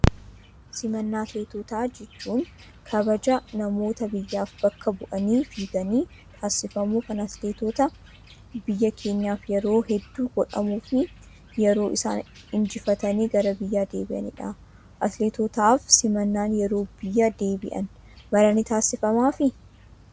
Simannaan atileetotaa jechuun kabaja namoota biyyaaf bakka bu'anii fiiganiif taasifamu kan atileetota biyya keenyaaf yeroo hedduu godhamuu fi yeroo isaan injifatanii gara biyyaa deebi'anidha. Atileetotaaf simannaan yeroo biyya deebi'an maraa ni taasifamaafii?